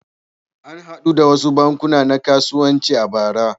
An haɗu da wasu bankuna na kasuwanci a bara.